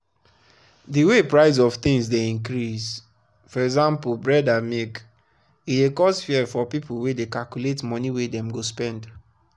the way price of things dey increasefor example bread and milke dey cause fear for people wey dey calculate money wey dem go spend.